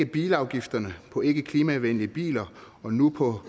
bilafgifterne på ikkeklimavenlige biler og nu på